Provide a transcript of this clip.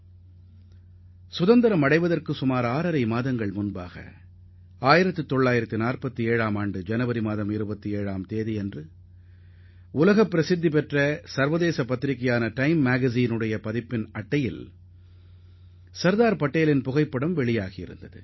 நாடு சுதந்திரம் அடைவதற்கு சுமார் ஆறு மாதங்கள் முன்பாக 1947 ஆம் ஆண்டு ஜனவரி 27 அன்று உலக பிரசித்திப் பெற்ற சர்வதேச பத்திரிகையான டைம் அதன் முதல் பக்கத்தில் சர்தார் பட்டேலின் புகைப்படத்துடன் வெளியானது